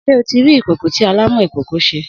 Sé o ti ri ikókó ti àlámõ ikókó se?